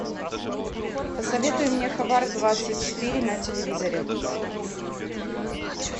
посоветуй мне хабар двадцать четыре на телевизоре